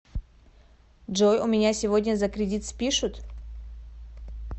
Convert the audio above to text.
джой у меня сегодня за кредит спишут